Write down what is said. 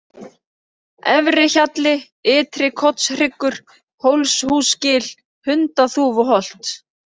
Efri-Hjalli, Ytri-Kotshryggur, Hólshúsgil, Hundaþúfuholt